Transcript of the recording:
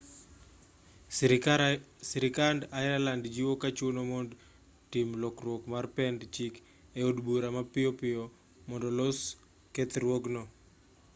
sirkand ireland jiwo ka chuno mondo tim lokruok mar pend chike e od bura mapiyo piyo mondo olos kethruogno